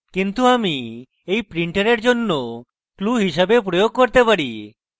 কিন্তু আমি এটি printer জন্য clue হিসাবে প্রয়োগ করতে পারি